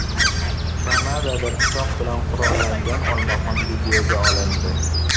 Kanadada pichoq bilan qurollangan olmaxon videoga olindi .